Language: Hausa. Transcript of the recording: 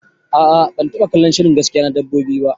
Aa ban taba kallon shirin gaskiya na dabbobi ba